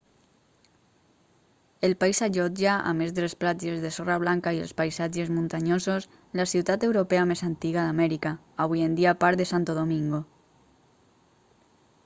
el país allotja a més de les platges de sorra blanca i els paisatges muntanyosos la ciutat europea més antiga d'amèrica avui en dia part de santo domingo